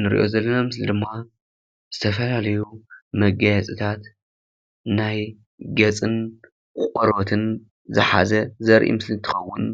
ንርእዮ ዘለና ምስሊ ድማ ዝተፈላለዩ መጋየፅታት ናይ ገፅን ቆርበትን ዝሓዘ ዘርኢ ምስሊ እንትከወን